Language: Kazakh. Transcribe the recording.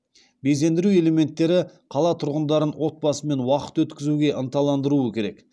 безендіру элементтері қала тұрғындарын отбасымен уақыт өткізуге ынталандыруы керек